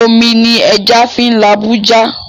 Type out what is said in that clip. Omi ni ẹja fín labú já